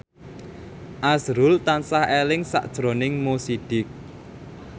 azrul tansah eling sakjroning Mo Sidik